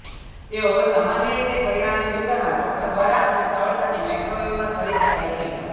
તેઓ સામાન્ય રીતે કરિયાણાની દુકાનમાં ચોખા દ્વારા અને સરળતાથી માઇક્રોવેવમાં કરી શકાય છે